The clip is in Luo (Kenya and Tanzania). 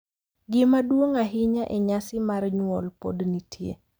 Gima duong’ ahinya e nyasi mar nyuol pod nitie,